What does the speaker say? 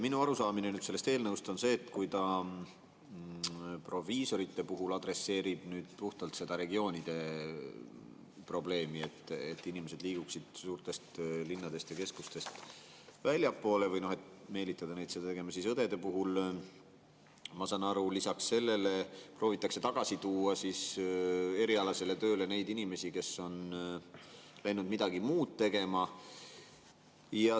Minu arusaamine sellest eelnõust on see, et kui ta proviisorite puhul adresseerib puhtalt seda regioonide probleemi, et inimesed liiguksid suurtest linnadest ja keskustest väljapoole või meelitada neid seda tegema, siis õdede puhul, ma saan aru, lisaks sellele proovitakse tagasi tuua erialasele tööle neid inimesi, kes on midagi muud tegema.